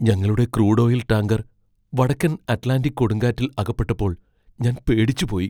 ഞങ്ങളുടെ crude oil tanker വടക്കൻ Atlantic കൊടുങ്കാറ്റിൽ അകപ്പെട്ടപ്പോൾ ഞാൻ പേടിച്ചുപോയി.